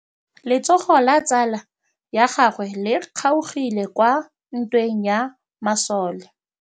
Letsôgô la tsala ya gagwe le kgaogile kwa ntweng ya masole.